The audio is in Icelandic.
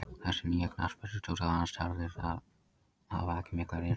Þessi nýi knattspyrnustjóri og hans starfslið hafa ekki mikla reynslu.